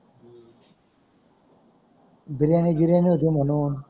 बिर्याणी गिर्यानी होती मानून